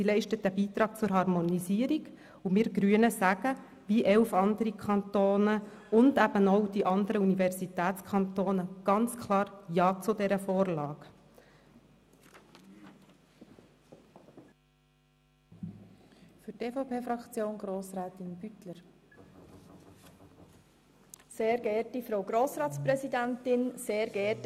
Sie leistet einen Beitrag zur Harmonisierung und wir Grünen sagen, wie elf andere Kantone und auch die anderen Universitätskantone, ganz klar ja zu dieser Vorlage.